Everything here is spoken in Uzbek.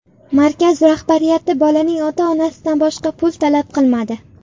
Markaz rahbariyati bolaning ota-onasidan boshqa pul talab qilmadi.